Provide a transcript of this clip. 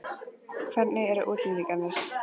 Hvernig eru útlendingarnir?